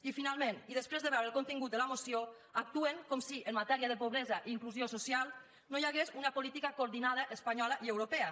i finalment i després de veure el contingut de la moció actuen com si en matèria de pobresa i inclusió social no hi hagués una política coordinada espanyola i europea